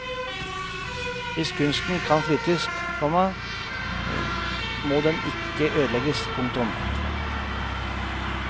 Hvis kunsten kan flyttes, komma må den ikke ødelegges. punktum